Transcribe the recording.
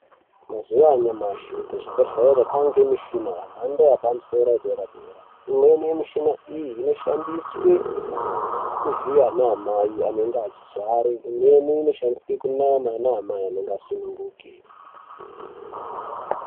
Mazuwa anyamushi kuzvibhedhlera kwaane mishini yemhandoepamusoro yedera-dera. Imweni yemishina iyi inoshandiswe kuvhiya anaamai vanenge vachizvara. Imweni inoshandiswa kunama anaamai anenge asununguka.